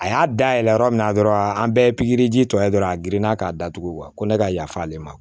A y'a dayɛlɛ yɔrɔ min na dɔrɔn an bɛɛ ye pikiriji tɔ ye dɔrɔn a girinna k'a datugu ko ne ka yafa ale ma